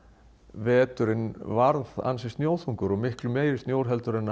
veturinn varð ansi snjóþungur og miklu meiri snjór en